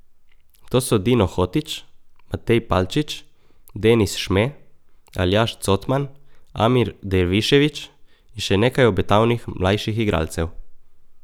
To so Dino Hotić, Matej Palčič, Denis Šme, Aljaž Cotman, Amir Dervišević in še nekaj obetavnih mlajših igralcev ...